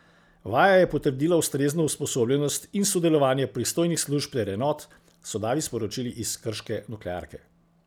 Vaja je potrdila ustrezno usposobljenost in sodelovanje pristojnih služb ter enot, so davi sporočili iz krške nuklearke.